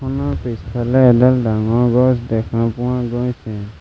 পিছফালে এডাল ডাঙৰ গছ দেখা পোৱা গৈছে।